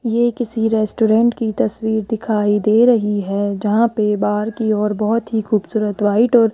ये किसी रेस्टोरेंट की तस्वीर दिखाई दे रही है जहां पे बाहर की ओर बहोत ही खूबसूरत व्हाइट और --